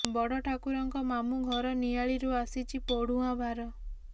ବଡ ଠାକୁରଙ୍କ ମାମୁଁ ଘର ନିଆଳିରୁ ଆସିଛି ପୋଢୁଆଁ ଭାର